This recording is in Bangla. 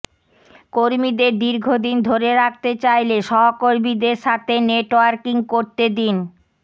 কর্মীদের দীর্ঘদিন ধরে রাখতে চাইলে সহকর্মীদের সাথে নেটওয়ার্কিং করতে দিন